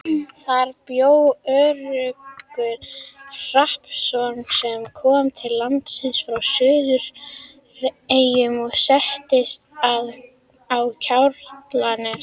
Þar bjó Örlygur Hrappsson sem kom til landsins frá Suðureyjum og settist að á Kjalarnesi.